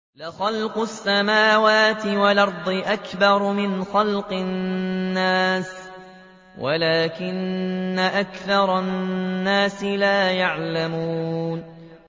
لَخَلْقُ السَّمَاوَاتِ وَالْأَرْضِ أَكْبَرُ مِنْ خَلْقِ النَّاسِ وَلَٰكِنَّ أَكْثَرَ النَّاسِ لَا يَعْلَمُونَ